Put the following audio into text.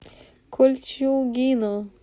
кольчугино